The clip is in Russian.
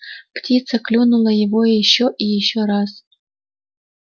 птица клюнула его ещё и ещё раз